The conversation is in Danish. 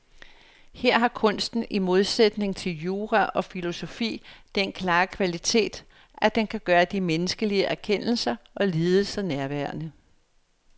Her har kunsten i modsætning til jura og filosofi den klare kvalitet, at den kan gøre de menneskelige erkendelser og lidelser nærværende.